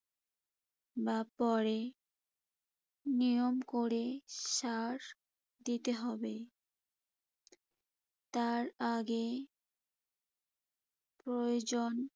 বা পরে নিয়ম করে সার দিতে হবে। তার আগে প্রয়োজন